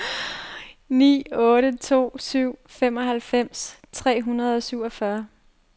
ni otte to syv femoghalvfems tre hundrede og syvogfyrre